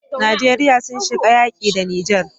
Nigeria sun shiga yaƙi da niger